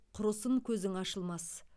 құрысын көзің ашылмас